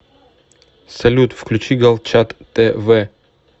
салют включи галчат тэ вэ